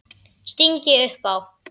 sting ég upp á.